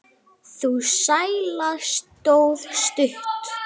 Sú sæla stóð stutt.